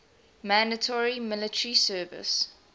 mandatory military service